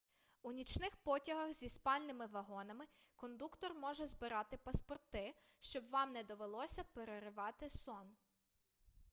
у нічних потягах зі спальними вагонами кондуктор може збирати паспорти щоб вам не довелося переривати сон